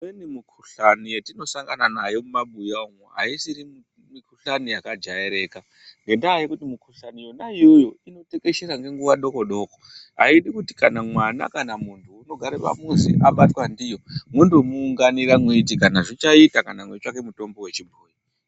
Imweni mikhuhlani yatinosangana nayo mumabuya umwo haisiri mikhuhlani yakajairika ngendaa yekuti mikhuhlani yona iyoyo inotekeshera ngenguwa dokodo haidi kuti kana mwana kana muntu unogare pamuzi abatwa ndiyo mwondomuunganira mweiti Kana zvichaita kana mweitsvake mutombo wechibhoyi.